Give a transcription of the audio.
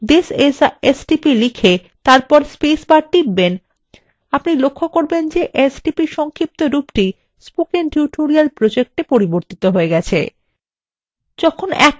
এখন আপনি যখনি this is a stp লিখে তারপর spacebar টিপবেন আপনি লক্ষ্য করবেন যে stp এর সংক্ষেপরূপটি spoken tutorial project a পরিবর্তিত হয়ে যাচ্ছে